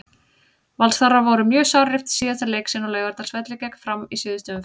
Valsarar voru mjög sárir eftir síðasta leik sinn á Laugardalsvelli gegn Fram í síðustu umferð.